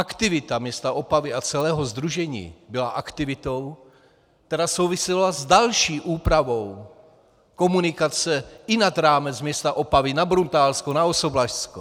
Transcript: Aktivita města Opavy a celého sdružení byla aktivitou, která souvisela s další úpravou komunikace i nad rámec města Opavy, na Bruntálsku, na Osoblažsku.